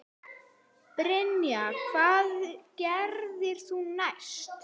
Brynja: Hvað gerðir þú næst?